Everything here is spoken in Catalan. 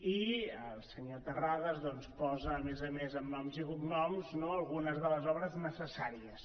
i el senyor terrades posa a més a més amb noms i cognoms algunes de les obres necessàries